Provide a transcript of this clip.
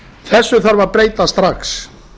þessu þarf að breyta strax